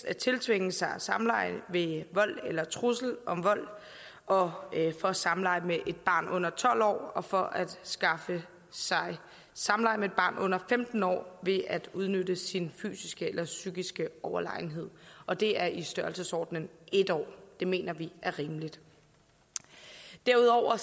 at tiltvinge sig samleje ved vold eller trusler om vold og for samleje med et barn under tolv år og for at skaffe sig samleje med et barn under femten år ved at udnytte sin fysiske eller psykiske overlegenhed og det er i størrelsesordenen en år det mener vi er rimeligt derudover